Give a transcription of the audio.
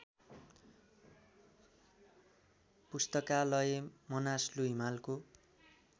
पुस्तकालय मनासलु हिमालको